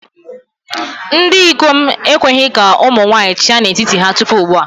Ndị ikom ekweghị ka ụmụ nwanyị chịa n'etiti ha tupu ugbu a.